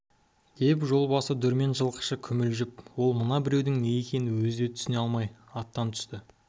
деп жолбасы дүрмен жылқышы күмілжіп ол мына біреудің не екенін өзі де түсіне алмай аттан түсті